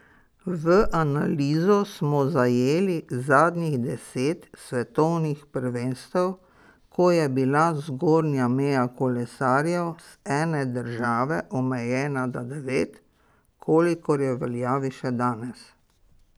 V analizo smo zajeli zadnjih deset svetovnih prvenstev, ko je bila zgornja meja kolesarjev z ene države omejena na devet, kolikor je v veljavi še danes.